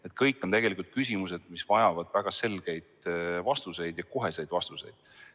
Need kõik on küsimused, mis vajavad väga selgeid vastuseid ja koheseid vastuseid.